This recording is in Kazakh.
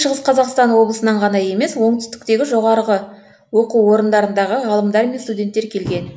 шығыс қазақстан облысынан ғана емес оңтүстіктегі жоғарғы оқу орындарындағы ғалымдар мен студенттер келген